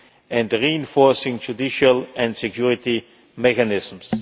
and reinforcing judicial and security mechanisms.